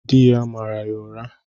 Di ya mara ya ụra.